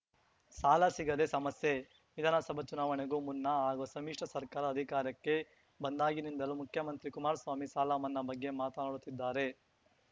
ಸಾಲ ಸಿಗದೆ ಸಮಸ್ಯೆ ವಿಧಾನಸಭಾ ಚುನಾವಣೆಗೂ ಮುನ್ನ ಹಾಗೂ ಸಮಿಶ್ರ ಸರ್ಕಾರ ಅಧಿಕಾರಕ್ಕೆ ಬಂದಾಗಿನಿಂದಲೂ ಮುಖ್ಯಮಂತ್ರಿ ಕುಮಾರಸ್ವಾಮಿ ಸಾಲ ಮನ್ನಾ ಬಗ್ಗೆ ಮಾತನಾಡುತ್ತಿದ್ದಾರೆ